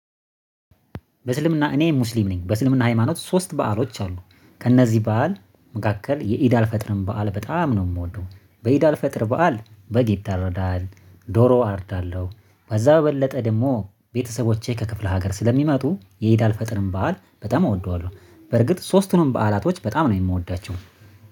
በእስልምና እኔ ሙስሊም ነኝ። በእስልምና ሃይማኖት ሶስት በዓሎች አሉ ከእነዚህ በዓል መካከል የኢድ አል ፈጥርን በዓል በጣም ነው የምወደው። በኢድ አል ፈጥር በዓል በግ ይታረዳል ዶሮ አርዳለሁ። ከዛ በበለጠ ደግሞ ቤተሰቦቼ ከክፍለ ሀገር ስለሚመጡ የኢዳ አል ፈጥረን በዓል በጣም አወደዋለሁ። በርግጥ ሶስቱንም በዓላቶች በጣም ነው የምወዳቸው